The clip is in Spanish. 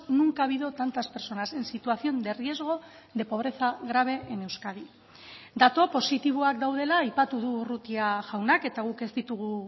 nunca ha habido tantas personas en situación de riesgo de pobreza grave en euskadi datu positiboak daudela aipatu du urrutia jaunak eta guk ez ditugu